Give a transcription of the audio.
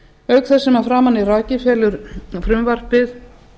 auk þess sem að framan er rakið felur frumvarpið